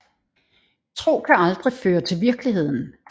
Tro kan aldrig føre til virkeligheden